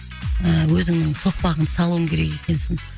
ііі өзіңнің соқпағыңды салуың керек екенсің